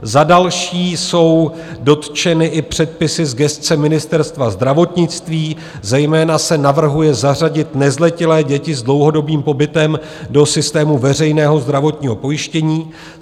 Za další jsou dotčeny i předpisy z gesce Ministerstva zdravotnictví, zejména se navrhuje zařadit nezletilé děti s dlouhodobým pobytem do systému veřejného zdravotního pojištění.